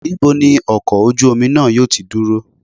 Níbo ni ọkọ̀ ojú omi náà yóò ti dúró?